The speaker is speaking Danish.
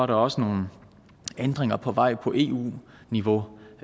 der også nogle ændringer på vej på eu niveau